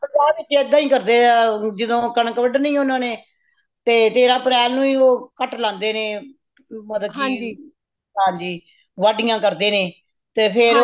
ਸਾਡੇ ਪੰਜਾਬ ਵਿੱਚ ਏਦਾਂ ਹੀ ਕਰਦੇ ਹੈ ਯਹ ਜਦੋ ਕਣਕ ਵਡਣੀ ਉਨ੍ਹਾਂਨੇ ਤੇ ਤੇਰਾਹ ਅਪ੍ਰੈਲ ਨੂੰ ਹੀ ਉਹ ਕਟ ਲਾਂਦੇ ਨੇ ਮਤਲਬ ਕਿ ਹਾਂਜੀ ਵੱਡੀਆਂ ਕਰਦੇ ਨੇ ਤੇ ਫੇਰ